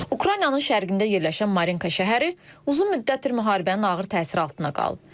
Ukraynanın şərqində yerləşən Marinka şəhəri uzun müddətdir müharibənin ağır təsiri altında qalıb.